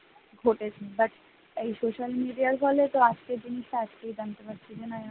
ঘটেছে but social media ফলে তো আজকের দিন সবকিছু জানতে পারছি যে না এরকম